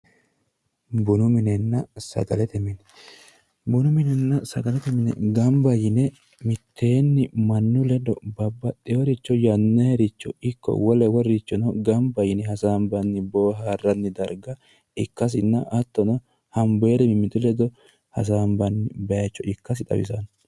bunu minenna sagalete mine bunu minenna sagalete mine mitteenni mannu ledo babbaxeworicho yannayiricho ikko wole wolericho ikko gamba yine ofollinanni daraga